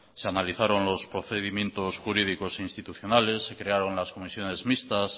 se analizaron los procedimientos jurídicos institucionales se crearon las comisiones mixtas